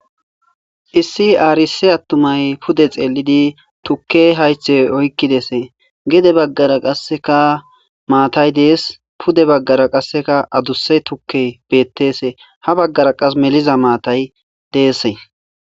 issi aarisi attumay pude xeelidi tukke haythe oykkidese gede baggara qasseka maatay dees pude baggara qasseka aduse tukke bettese ha baggara qas meliza maatay deesse